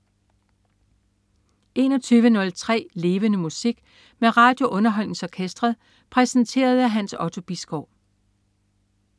21.03 Levende Musik. Med RadioUnderholdningsOrkestret. Præsenteret af Hans Otto Bisgaard